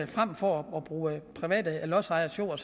frem for at bruge private lodsejeres jord